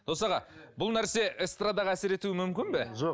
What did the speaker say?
дос аға бұл нәрсе эстрадаға әсер етуі мүмкін бе жоқ